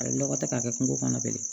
A bɛ lɔgɔ ta k'a kɛ kungo kɔnɔ bilen